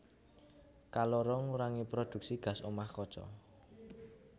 Kaloro ngurangi prodhuksi gas omah kaca